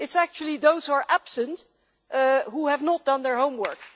It is actually those who are absent who have not done their homework.